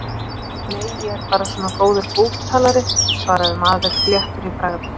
Nei, ég er bara svona góður búktalari, svaraði maður léttur í bragði.